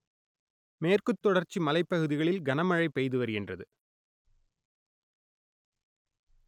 மேற்கு தொடர்ச்சி மலைப்பகுதிகளில் கனமழை பெய்து வருகின்றது